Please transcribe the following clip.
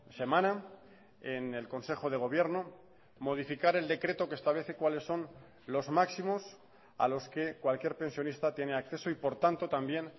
semana en el consejo de gobierno modificar el decreto que establece cuáles son los máximos a los que cualquier pensionista tiene acceso y por tanto también